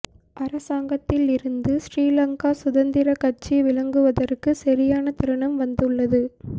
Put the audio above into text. அரசாங்கத்தில் இருந்து ஶ்ரீலங்கா சுதந்திர கட்சி விலகுவதற்கு சரியான தருணம் வந்துள்ளது